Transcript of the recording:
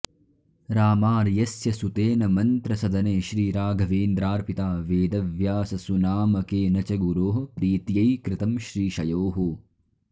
रामार्यस्य सुतेन मन्त्रसदने श्रीराघवेन्द्रार्पिता वेदव्याससुनामकेन च गुरोः प्रीत्यै कृतं श्रीशयोः